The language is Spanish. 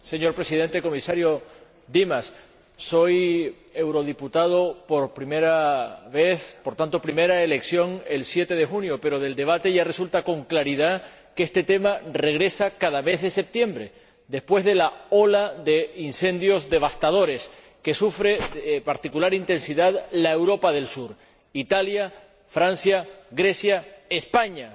Señor Presidente, señor Comisario Dimas, soy eurodiputado por primera vez —fui elegido el 7 de junio—, pero del debate ya resulta con claridad que este tema regresa cada mes de septiembre después de la ola de incendios devastadores que sufre con particular intensidad la Europa del sur Italia, Francia, Grecia y España.